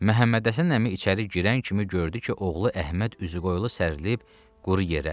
Məhəmmədhəsən əmi içəri girən kimi gördü ki, oğlu Əhməd üzü qoyulu sərilayib quru yerə.